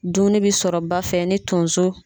Dumuni bɛ sɔrɔ ba fɛ ni tonso